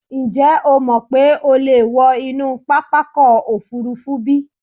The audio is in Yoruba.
Ǹjẹ́ o mọ̀ pé o lè wọ inú pápákọ̀ òfúrufú bí?